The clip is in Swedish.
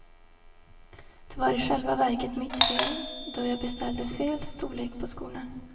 Det var i själva verket mitt fel, då jag beställde fel storlek på skorna.